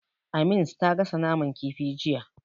Amins ta gasa mana kifi jiya.